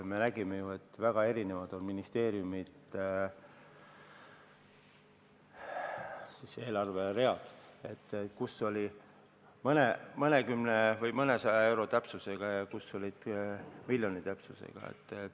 Me nägime ju, et ministeeriumide eelarveread on väga erinevad, mõned olid mõnekümne või mõnesaja euro täpsusega ja mõned olid miljoni täpsusega.